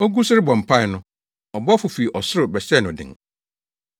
Ogu so rebɔ mpae no, ɔbɔfo fi ɔsoro bɛhyɛɛ no den.